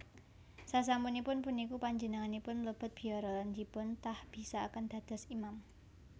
Sasampunipun puniku panjenenganipun mlebet biara lan dipuntahbisaken dados imam